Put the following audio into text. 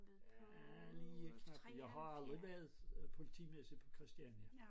Ja lige efter for jeg har aldrig været politimester på Christiania